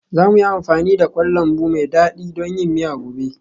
Za mu yi amfani da kwan lambu mai dadi don yin miya gobe.